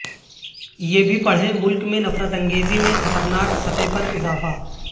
یہ بھی پڑھیں ملک میں نفرت انگیزی میں خطرناک سطح پر اضافہ